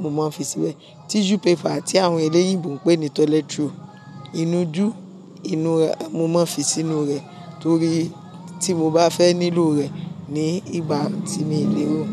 mo máa ń fi síbẹ̀. Tissue paper tí àwọn eléyìí ń pè ní toilet roll, inújú inúra, mo máa ń fi sínú rẹ̀ torí tí mo bá fẹ́ nílò rẹ̀ ní ìgbà tí mi lẹ́rọ̀.